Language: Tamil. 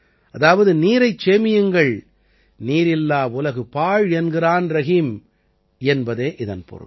அதாவது நீரைச் சேமியுங்கள் நீரில்லா உலகு பாழ் என்கிறான் ரஹீம் என்பதே இதன் பொருள்